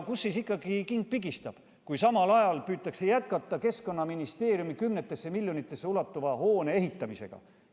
Kust ikkagi king pigistab, kui samal ajal püütakse jätkata Keskkonnaministeeriumi kümnetesse miljonitesse ulatuva hoone ehitamist?